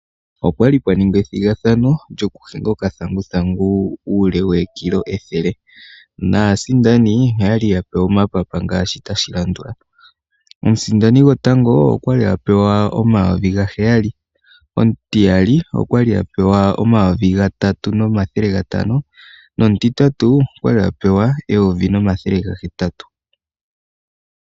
Opwali pwa ningwa ethigathano lyoku hinga okathanguthangu uule wokilo ethele. Naasindani oyali ya pewa oomapapa ngaashi tashi landula; omusindani gwotango okwali a pewa omayovi gaheyali, omutiyali okwali a pewa omayovi gatatu nomathele gatano, nomutitatu okwali a pewa eyovi nomathele gahetatu.